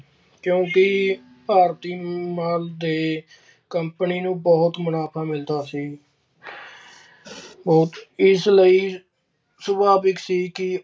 ਕਿਉਂ ਕਿ ਭਾਰਤੀ ਮਾਲ ਨਾਲ company ਨੂੰ ਬਹੁਤ ਮੁਨਾਫ਼ਾ ਮਿਲਦਾ ਸੀ। ਅਹ ਇਸ ਲਈ ਸੁਭਾਵਿਕ ਸੀ ਕਿ